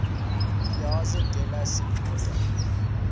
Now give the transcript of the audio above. piazza della signoria